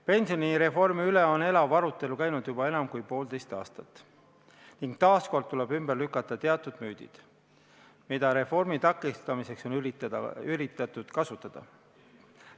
Pensionireformi üle on elav arutelu käinud juba enam kui poolteist aastat ning taas kord tuleb ümber lükata teatud müüdid, mida reformi takistamiseks on üritatud kasutada.